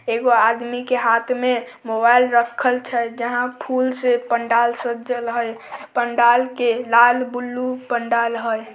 एगो आदमी के हाथ में मोबाइल रखल छै जहां फूल से पंडाल सजल हई पंडाल के लाल ब्लू पंडाल हई।